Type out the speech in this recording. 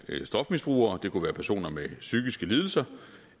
stofmisbrugere det kunne være personer med psykiske lidelser